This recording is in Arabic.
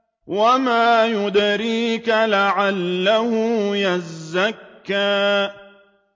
وَمَا يُدْرِيكَ لَعَلَّهُ يَزَّكَّىٰ